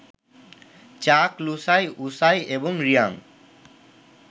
চাক, লুসাই, উসাই এবং রিয়াং